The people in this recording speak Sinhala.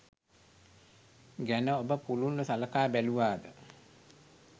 ගැන ඔබ පුළුල්ව සලකා බැලුවාද?